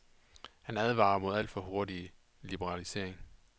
Han advarer mod alt for hurtig liberalisering.